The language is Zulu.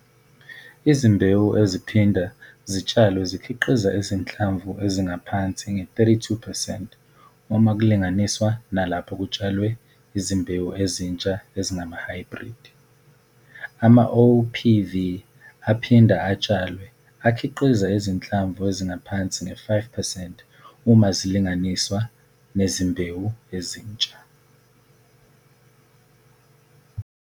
Izimbewu eziphinda zitshalwe zikhiqiza izinhlamvu ezingaphansi nge-32 percent uma kulinganiswa nalapho kutshalwe izimbewu ezinsha ezingamahhayibhridi. AmaOPV aphinda atshalwe akhiqiza izinhlamvu ezingaphansi nge-5 percent uma zilinganiswa nezimbewu ezinsha.